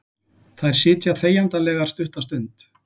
Þær sitja þegjandalegar stutta stund.